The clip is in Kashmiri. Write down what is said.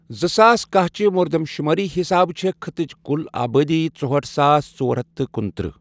زٕ ساس کاہ چہِ مردم شُمٲری حِسابہٕ چھے خٕطٕچ كُل آبٲدی ژُہٲٹھ ساس، ژور ہتھ تہٕ کنترٛہہ ۔